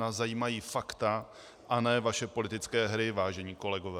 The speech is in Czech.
Nás zajímají fakta a ne vaše politické hry, vážení kolegové.